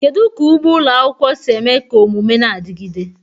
Kedu ka ugbo ụlọ akwụkwọ si eme ka omume na-adigide?